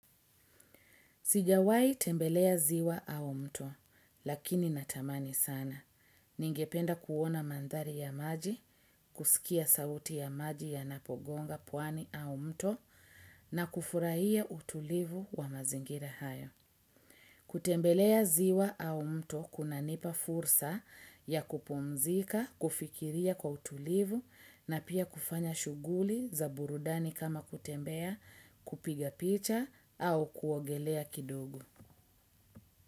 Sijawai tembelea ziwa au mto, lakini natamani sana. Ningependa kuona mandhari ya maji, kusikia sauti ya maji yanapogonga pwani au mto, na kufurahia utulivu wa mazingira hayo. Kutembelea ziwa au mto kunanipa fursa ya kupumzika, kufikiria kwa utulivu na pia kufanya shughuli za burudani kama kutembea kupiga picha au kuogelea kidogo.